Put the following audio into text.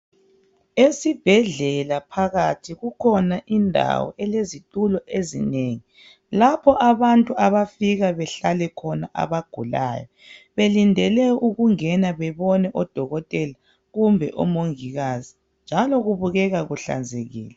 Esibhedlela phakathi kukhona indawo elezitulo ezinengi lapho abantu abafika bahlale khona abagulayo belindele ukungena bebone odokotela kumbe omongikazi njalo kubukeka kuhlanzekile